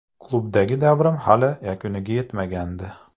Klubdagi davrim hali yakuniga yetmagandi.